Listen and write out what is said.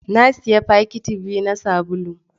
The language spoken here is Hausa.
Na sayi fakiti biyu na sabulu.